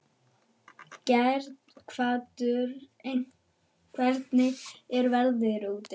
Geirhvatur, hvernig er veðrið úti?